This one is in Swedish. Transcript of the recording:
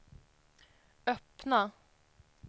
öppna